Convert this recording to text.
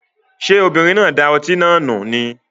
Ṣé obìnrin náà da ọtí náà nù ni?